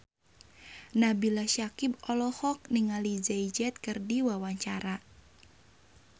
Nabila Syakieb olohok ningali Jay Z keur diwawancara